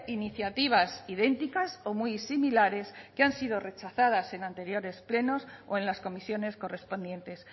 iniciativas idénticas o muy similares que han sido rechazadas en anteriores plenos o en las comisiones correspondientes